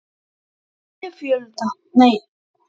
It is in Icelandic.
Kristján Már: Hvaða ráðuneyti mun þér hugnast helst?